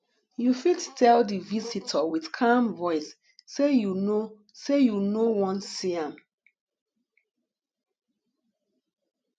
you fit tell di visitor with calm voice sey you no sey you no wan see am